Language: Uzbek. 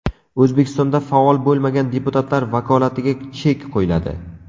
O‘zbekistonda faol bo‘lmagan deputatlar vakolatiga chek qo‘yiladi.